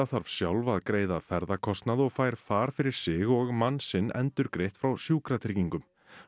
þarf sjálf að greiða ferðakostnað og fær far fyrir sig og mann sinn endurgreitt frá Sjúkratryggingum